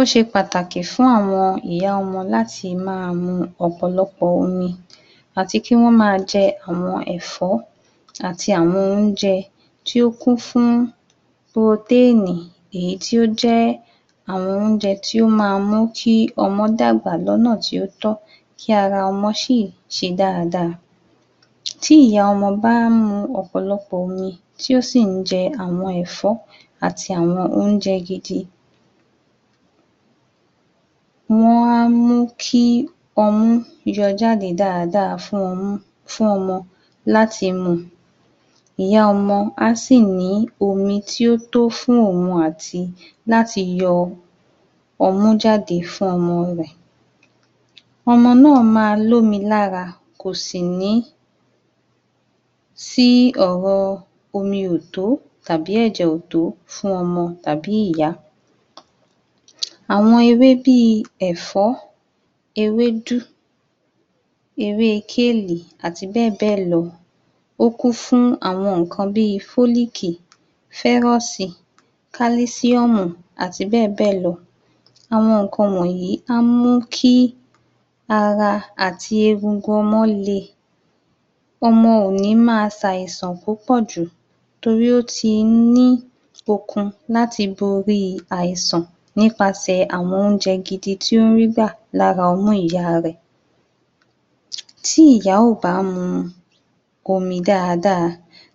Ó ṣe pàtàkì fún àwọn ìyá ọmọ láti máa mú ọ̀pọ̀lọpọ̀ omi àti kí wọ́n máa jẹ àwọn ẹ̀fọ́ àti àwọn oúnjẹ tí ó kún fún protein èyí tí ó jẹ́ àwọn oúnjẹ tí ó máa ń mú kí ọmọ́ dàgbà lọ́nà tí ó tọ́ kí ara ọmọ sì ṣe dáadáa. Tí ìyá ọmọ bá ń mu ọ̀pọ̀lọpọ̀ omi tí ó sì ń jẹ àwọn ẹ̀fọ́ àti àwọn oúnjẹ gidi, wọ́n ń mú kí ọmú yọ jáde dáadáa fún ọmú fún ọmọ láti mu. Ìyá ọmọ á sì ní omi tí ó tó fún òun àti láti yọ ọmú jáde fún ọmọ rẹ̀, ọmọ náà máa l’ómi lára kò sì ní sí ọ̀rọ̀ omi ò tó tàbí ẹ̀jẹ̀ ò tó fún ọmọ tàbí ìyá. Àwọn ewé bí i ẹ̀fọ́, ewédú, ewé kíélì, àti bẹ́ẹ̀ bẹ́ẹ̀ lọ ó kún fún àwọn nǹkan bí i folic, ferous, calcium àti bẹ́ẹ̀ bẹ́ẹ̀ lọ. Àwọn nǹkan wọ̀nyí máa ń mú kí ara àti egungun ọmọ le, ọmọ ò ní máa ṣ’àìsàn púpọ̀ jù torí ó ti ń ní okun láti borí àìsàn nípasẹ̀ àwon oúnjẹ gidi tí ó ń rí gbà lára ọmú ìyá rẹ̀. Tí ìyá ò bá mu omi dáadáa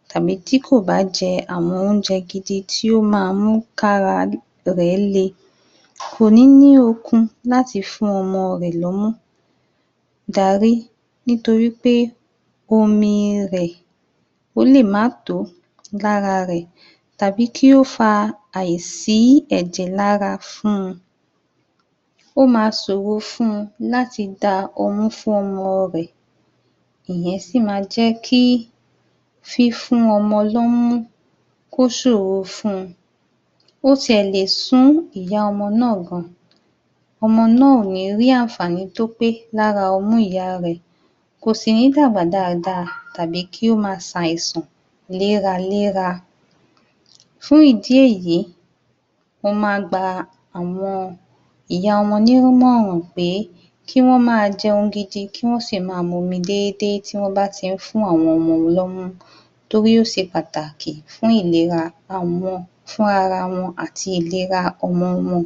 tàbí tí kò bá jẹ àwọn oúnjẹ gidi tí ó máa mú k’ára rẹ̀ le kò ní ní okun láti fún ọmọ rẹ̀ lọ́mú darí nítorí pé omi rẹ̀ ó lè má tó lára rẹ̀ tàbí kí ó fa àìsí ẹ̀jẹ̀ lára fún. Ó máa ṣòro fún láti da ọmú fún ọmọ rẹ̀, ìyẹn sì máa jẹ́ kí fífún ọmọ lọ́mú kó ṣòro fún. Ó tí ẹ̀ lè sú ìyá ọmọ náà gan. ọmọ náà ò ní rí àǹfàní tó pé lára ọmú ìyá rẹ̀ kò sì ní dàgbà dáadáa tàbí kí ó máa ṣ’àìsàn léraléra. Fún ìdí èyí, mo máa gba àwọn ìyá ọmọ nímọ̀ràn pé kí wọ́n máa jẹun gidi kí wọ́n sì máa momi déédé tí wọ́n bá ti ń fún àwọn ọmọ lọ́mú torí ó ṣe pàtàkì fún ìlera àwọn fúnra ara wọn àti ìlera ọmọ wọn.